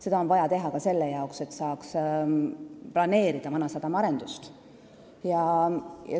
Seda on vaja teha ka selle jaoks, et saaks planeerida Vanasadama arendust.